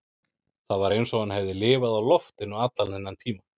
Það var eins og hann hefði lifað á loftinu allan þennan tíma